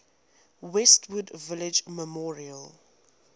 westwood village memorial